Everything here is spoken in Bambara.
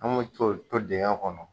Anw bɛ to to digɛn kɔnɔ.